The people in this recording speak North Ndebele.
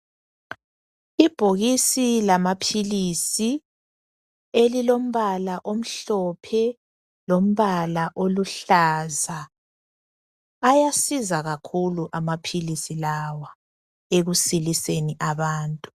Ibhokisi lamaphilisi elilombala omhlophe lombala oluhlaza. Ayasiza kakhulu amaphilisi lawa ekusiliseni abantu .